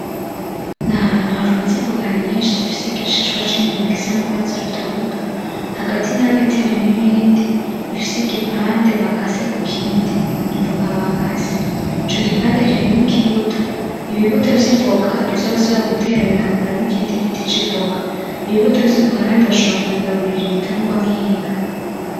N'ahantu harunze ivoka nyinshi, zifise igishishwa c’inyuma gisa n’urwatsi rutoto. Hagati na hagati harimwo irindi rifise igipande bakase kukindi n'ivoka bakase. Ico gipande kirimwo ikibuto. Ibibuto vy’ivoka ni vyo basubira gutera bikakuramo ikindi giti c’ivoka. Ibibuto vy'ivoka kandi bashobora kubigaburira ibitungwa nk'inka.